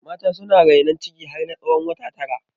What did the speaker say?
Mata suna rainon ciki har na tsawon wata tara